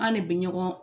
An de bɛ ɲɔgɔn